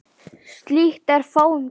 Slíkt er fáum gefið.